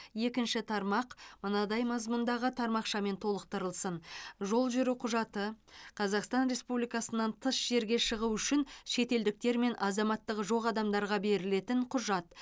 екінші тармақ мынадай мазмұндағы тармақшамен толықтырылсын жол жүру құжаты қазақстан республикасынан тыс жерге шығу үшін шетелдіктер мен азаматтығы жоқ адамдарға берілетін құжат